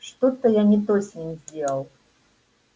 что-то я не то с ним сделал